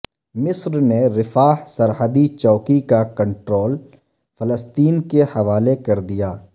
مصر نے رفاح سرحدی چوکی کا کنٹرول فلسطین کے حوالے کر دیا